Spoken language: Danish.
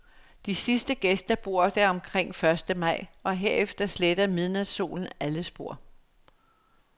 De sidste gæster bor der omkring første maj, og herefter sletter midnatssolen alle spor.